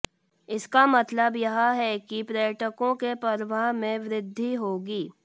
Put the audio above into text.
इसका मतलब यह है कि पर्यटकों के प्रवाह में वृद्धि होगी